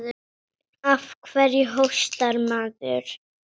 Af hverju hóstar maður?